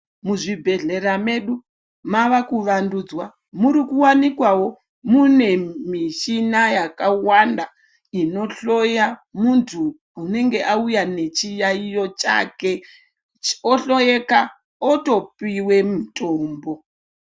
Muzvibhedhlera medu mava kuvandudzwa murikuwanikwawo mune muchina yakawanda inohloya muntu unenge auya nechiyaiyo chake ohloyeka otopiwe mutombo.